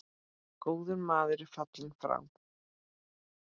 Góður maður er fallinn frá.